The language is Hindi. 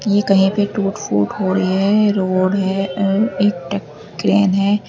ये कहीं पे टूट फूट हो रही है रोड है एवं एक क्रेन है।